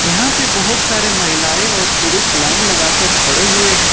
यहां पे बहुत सारे महिलाएं और पुरुष लाइन लगाकर खड़े हुए हैं।